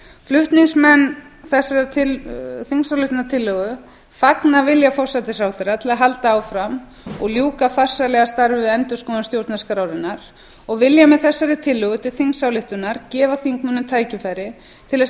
flutningsmenn þessarar þingsályktunartillögu fagna vilja forsætisráðherra til að halda áfram og ljúka farsællega starfi við endurskoðun stjórnarskrárinnar og vilja með þessari tillögu til þingsályktunar gefa þingmönnum tækifæri til þess